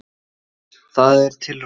Það er til ráð.